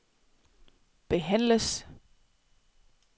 behandles